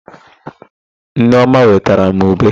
Nneọma wetara m ube.